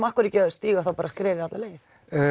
af hverju ekki að stíga skrefið alla leið